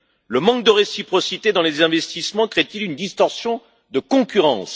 Le manque de réciprocité dans les investissements crée t il une distorsion de concurrence?